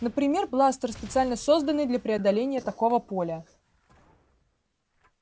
например бластер специально созданный для преодоления такого поля